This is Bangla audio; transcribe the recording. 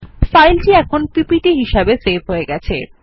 ফাইলটি এখন পিপিটি হিসাবে সেভ হয়ে গেছে